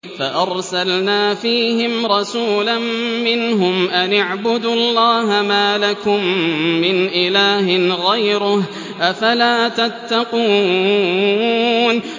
فَأَرْسَلْنَا فِيهِمْ رَسُولًا مِّنْهُمْ أَنِ اعْبُدُوا اللَّهَ مَا لَكُم مِّنْ إِلَٰهٍ غَيْرُهُ ۖ أَفَلَا تَتَّقُونَ